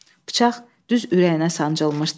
Bıçaq düz ürəyinə sancılmışdı.